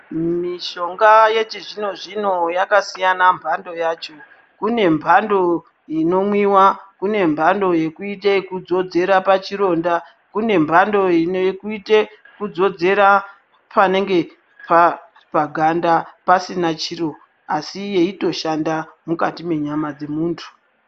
Mishonga yechizvino zvino yakasiyana mpando yacho kune mpando inomwiwa kune mpando yekuite ekudzodzera pachironda kune mpando ine kuite panenge pa paganda pasina chiro asi yeito shanda mukati mwenyama dzemuntu.